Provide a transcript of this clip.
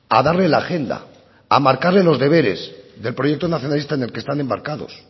a darle la agenda a marcarle los deberes del proyecto nacionalista en el que están embarcados